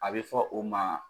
A bɛ fɔ o ma